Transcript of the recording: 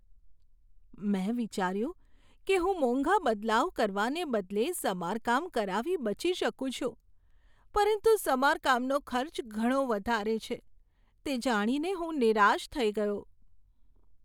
મેં વિચાર્યું કે હું મોંઘા બદલાવ કરવાને બદલે સમારકામ કરાવી બચી શકું છું, પરંતુ સમારકામનો ખર્ચ ઘણો વધારે છે, તે જાણીને હું નિરાશ થઈ ગયો.